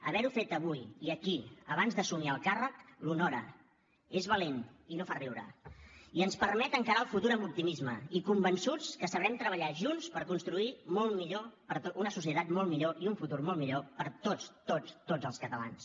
haver ho fet avui i aquí abans d’assumir el càrrec l’honora és valent i no fa riure i ens permet encarar el futur amb optimisme i convençuts que sabrem treballar junts per construir una societat molt millor i un futur molt millor per tots tots tots els catalans